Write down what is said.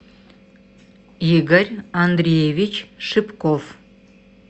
игорь андреевич шипков